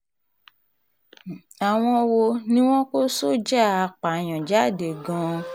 um àwọn wo ni wọ́n kó sọ́jà apààyàn jáde gan-an